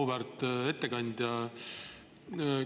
Auväärt ettekandja!